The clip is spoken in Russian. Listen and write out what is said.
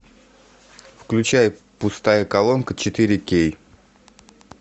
включай пустая колонка четыре кей